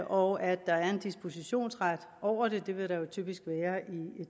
og at der er en dispositionsret over det det vil der jo typisk være i